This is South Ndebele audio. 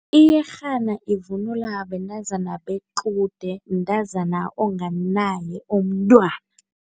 Iyerhana ivunulwa bentazana bequde, mntazana onganaye umntwana.